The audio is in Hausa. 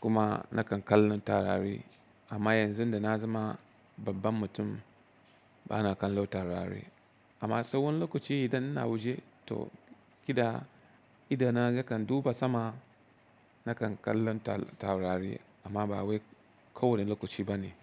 kuma nakan kallon taurari. Amma yanzu da na zama babban mutum bana kallon taurari. Amma saiwani lokaci idan ina waje to kila idana nakan duba sama nakan kallon taurari amma ba wai kowane lokaci bane.